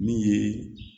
Min ye